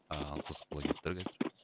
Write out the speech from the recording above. ал қызық болайын деп тұр қазір